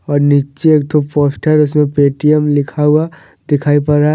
और नीचे तो पोस्टर उसमें पेटीएम लिखा हुआ दिखाई पड़ा है।